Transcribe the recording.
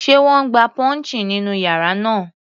Sé wọ́n gba pouching nínú yàrá náà?.